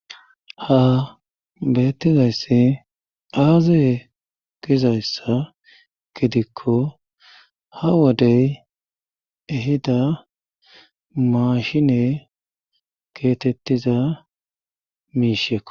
Ha bettizayssi aaze gizayssa gidikko ha wodey ehida maashine keetettiza miishekko.